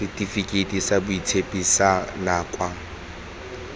setifikeiti sa boitshupo sa nakwana